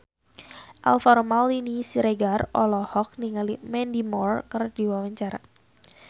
Alvaro Maldini Siregar olohok ningali Mandy Moore keur diwawancara